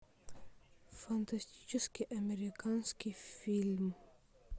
фантастический американский фильм